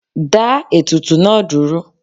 Dáa ètùtù náà dúró!